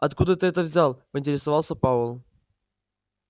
откуда ты это взял поинтересовался пауэлл